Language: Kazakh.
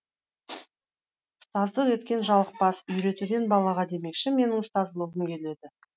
ұстаздық еткен жалықпас үйретуден балаға демекші менің ұстаз болғым келеді